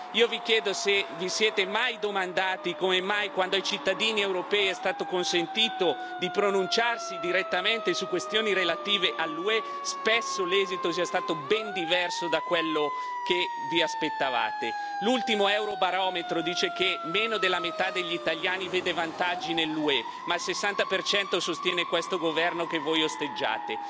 Io vi chiedo se vi siete mai domandati come mai, quando ai cittadini europei è stato consentito di pronunciarsi direttamente su questioni relative all'UE, spesso l'esito è stato ben diverso da quello che vi aspettavate. L'ultimo Eurobarometro dice che meno della metà degli italiani vede vantaggi nell'UE ma il 60 sostiene questo governo che voi osteggiate.